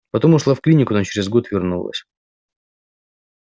потом ушла в клинику но через год вернулась